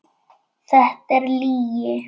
Þetta er lygi.